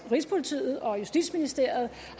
rigspolitiet og justitsministeriet